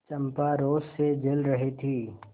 चंपा रोष से जल रही थी